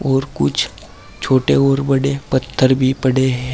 और कुछ छोटे और बड़े पत्थर भी पड़े हैं।